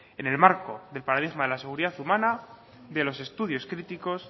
en el marco del paradigma de la seguridad humana de los estudios críticos